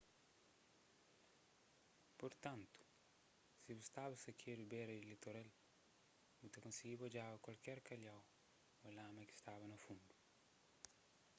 purtantu si bu staba sakedu bera di litoral bu ta konsigiba odjaba kualker kalhau ô lama ki staba na fundu